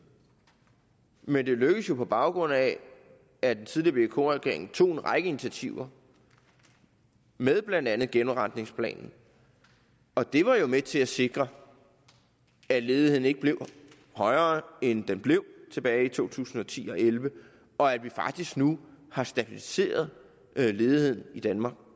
men det lykkedes jo på baggrund af at den tidligere vk regering tog en række initiativer med blandt andet genopretningsplanen og det var jo med til at sikre at ledigheden ikke blev højere end den blev tilbage i to tusind og ti og elleve og at vi faktisk nu har stabiliseret ledigheden i danmark